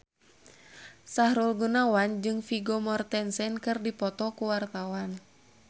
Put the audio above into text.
Sahrul Gunawan jeung Vigo Mortensen keur dipoto ku wartawan